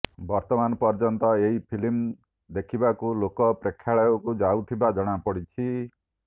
ବର୍ତ୍ତମାନ ପର୍ଯ୍ୟନ୍ତ ଏହି ଫିଲ୍ମ ଦେଖିବାକୁ ଲୋକ ପ୍ରେକ୍ଷାଳୟକୁ ଯାଉଥିବା ଜଣାପଡ଼ିଛି